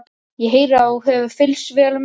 Ég heyri að þú hefur fylgst vel með.